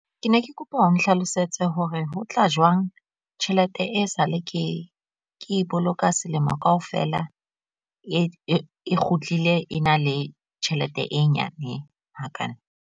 Ke ne ke kopa o nhlalosetse hore ho tla jwang tjhelete e sale ke e boloka selemo kaofela e kgutlile e na le tjhelete e nyane hakale.